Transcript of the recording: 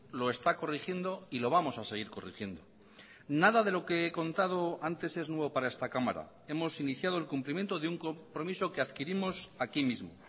lo está corrigiendo y lo vamos a seguir corrigiendo nada de lo que he contado antes es nuevo para esta cámara hemos iniciado el cumplimiento de un compromiso que adquirimos aquí mismo